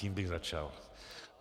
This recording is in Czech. Tím bych začal.